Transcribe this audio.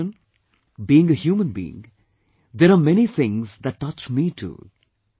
My dear countrymen, being a human being, there are many things that touch me too